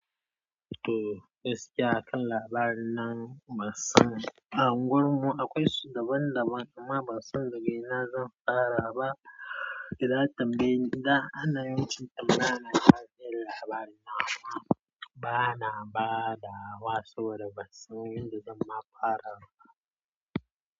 To, gaskiya a kan labari nan ban sani ba. Uguwanmu akwai cigaba, amma ban san daga ina zan fara ba idan an tambayeni, idan ana yawancin tambayana ta yin labari amma bana ba da wa saboda ban san yadda zan fara ba.